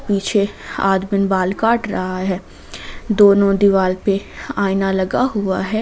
पीछे आदमी बाल काट रहा है दोनों दीवार पर आईना लगा हुआ है।